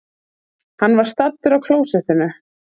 Hann var staddur á klósettinu.